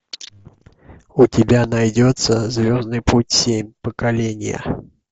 у тебя найдется звездный путь семь поколение